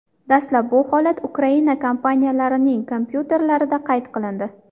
Dastlab bu holat Ukraina kompaniyalarining kompyuterlarida qayd qilindi.